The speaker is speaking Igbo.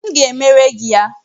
M ga-emere gị ya